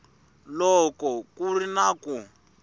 loko ku ri na ku